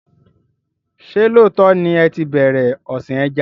Ṣé lóòtọ́ ni ẹ tí bẹ̀rẹ̀ ọ̀sìn ẹja?